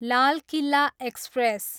Lal Qila express